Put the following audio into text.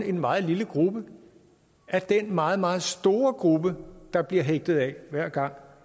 en meget lille gruppe af den meget meget store gruppe der bliver hægtet af hver gang